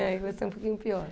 É, vai ser um pouquinho pior.